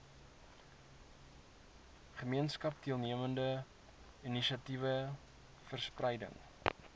gemeenskapsdeelname inisiatiewe verspreiding